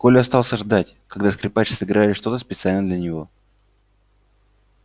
коля остался ждать когда скрипач сыграет что то специально для него